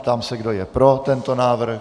Ptám se, kdo je pro tento návrh.